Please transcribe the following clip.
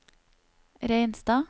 Reinstad